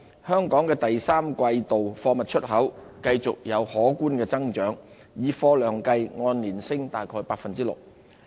香港第三季度的貨物出口繼續有可觀增長，以貨量計按年升約大概 6%。